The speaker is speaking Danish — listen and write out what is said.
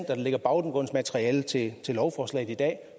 der ligger baggrundsmateriale til til lovforslaget i dag